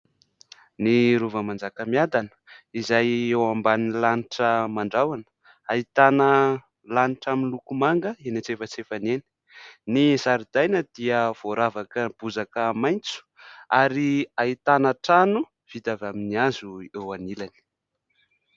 Ny rova Manjakamiadana izay eo amban'ny lanitra mandrahona, ahitana lanitra miloko manga eny an-tsefatsefany eny, ny zaridaina dia voaravaka bozaka maitso ary ahitana trano vita avy amin'ny hazo eo anilany.